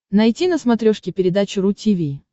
найти на смотрешке передачу ру ти ви